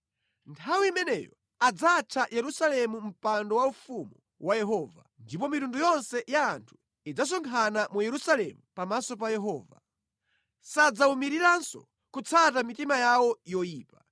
Nthawi imeneyo adzatcha Yerusalemu Mpando Waufumu wa Yehova, ndipo mitundu yonse ya anthu idzasonkhana mu Yerusalemu pamaso pa Yehova. Sadzawumiriranso kutsata mitima yawo yoyipa.